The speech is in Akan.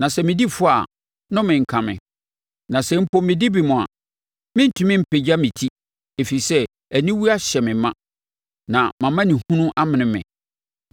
Na sɛ medi fɔ a, nnome nka me! Na sɛ mpo medi bem a, merentumi mpagya me ti, ɛfiri sɛ aniwuo ahyɛ me ma na mʼamanehunu amene me.